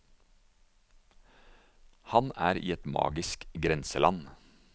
Han er i et magisk grenseland.